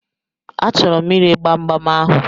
A chọrọ m ire gbamgbam ahụ.